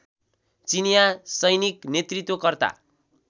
चिनीया सैनिक नेतृत्व कर्ता